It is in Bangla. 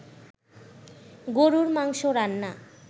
গরুর মাংস রান্না